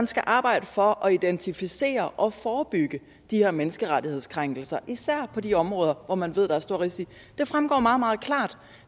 skal arbejde for at identificere og forebygge de her menneskerettighedskrænkelser især på de områder hvor man ved der er store risici det fremgår meget meget klart